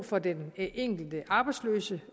for den enkelte arbejdsløse